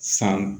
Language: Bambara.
San